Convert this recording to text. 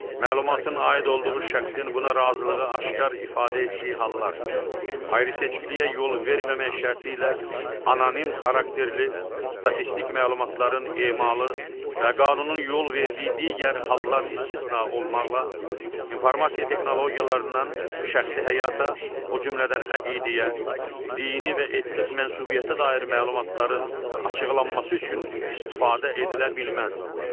Məlumatın aid olduğu şəxsin buna razılığı aşkar ifadə etdiyi hallar, ayrı-seçkiliyə yol verməmək şərti ilə anonim xarakterli, statistik məlumatların emalı və qanunun yol verdiyi digər hallar istisna olmaqla, informasiya texnologiyalarından şəxsi həyata, o cümlədən əqidəyə, dini və etnik mənsubiyyətə dair məlumatların açıqlanması üçün istifadə edilə bilməz.